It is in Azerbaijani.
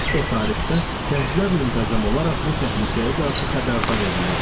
O tarixdə gənclər müntəzəm olaraq bu təhlükəyə qarşı xəbərdar edilirdi.